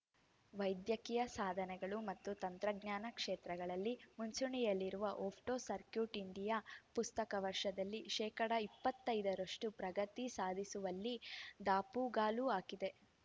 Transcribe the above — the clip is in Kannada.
ವೈದ್ಯಕೀಯ ಸಾಧನೆಗಳು ಮತ್ತು ತಂತ್ರಜ್ಞಾನ ಕ್ಷೇತ್ರದಲ್ಲಿ ಮುಂಚೂಣಿಯಲ್ಲಿರುವ ಒಪ್ಟೋ ಸರ್ಕೂಟ್ ಇಂಡಿಯಾ ಪ್ರಸಕ್ತ ವರ್ಷದಲ್ಲಿ ಶೇಕಡಾ ಇಪ್ಪತ್ತೈದರಷ್ಟು ಪ್ರಗತಿ ಸಾಧಿಸುವಲ್ಲಿ ದಾಪುಗಾಲು ಹಾಕಿದೆ